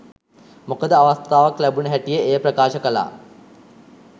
මොකද අවස්ථාවක් ලැබුණ හැටියෙ එය ප්‍රකාශ කළා.